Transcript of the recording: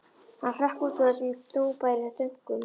Hann hrökk út úr þessum þungbæru þönkum.